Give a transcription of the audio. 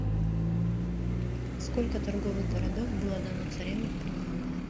сколько торговых городов было дано царевне в приданое